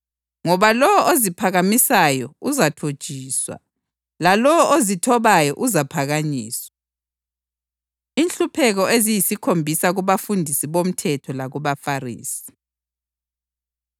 Ngoba lowo oziphakamisayo uzathotshiswa, lalowo ozithobayo uzaphakanyiswa.” Inhlupheko Eziyikhombisa Kubafundisi Bomthetho LakubaFarisi